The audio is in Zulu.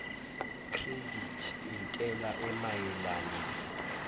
credit entela emayelana